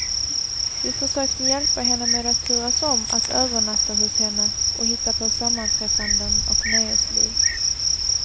Vi försökte hjälpa henne med att turas om att övernatta hos henne och hitta på sammanträffanden och nöjesliv.